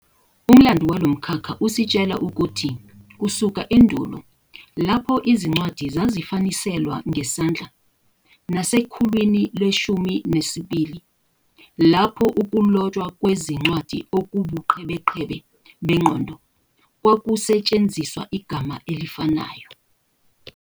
uMlando walomkhakha usitshela ukuthi kusuka endulo, lapho Izincwadi zisafaniselwa ngesandla, nasekhuwlini le-12 lapho "ukulotshwa kwezincwadi okungubuqhebeqhebe bengqondo" kwakusetshenziswa igama elifanayo.